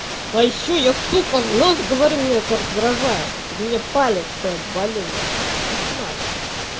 а ещё я сука в нос говорю меня это раздражает это меня палит что я болею кошмар